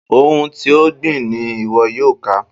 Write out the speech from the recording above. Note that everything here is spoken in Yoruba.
Ohun ti o gbìn ni iwọ yoo ká.